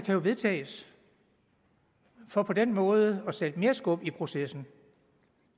jo vedtages og på den måde sætte mere skub i processen